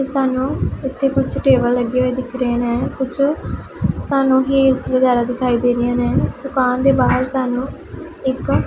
ਸਾਨੂੰ ਇੱਥੇ ਕੁਝ ਟੇਬਲ ਲੱਗੇ ਹੋਏ ਦਿਖ ਰਹੇ ਨੇ ਕੁਛ ਸਾਨੂੰ ਹੀਲਸ ਵਗੈਰਾ ਦਿਖਾਈ ਦੇ ਰਹੀਆਂ ਨੇ ਦੁਕਾਨ ਦੇ ਬਾਹਰ ਸਾਨੂੰ ਇੱਕ --